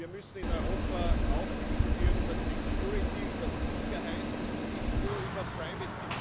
Wir müssen in Europa auch diskutieren über security über Sicherheit nicht nur über privacy.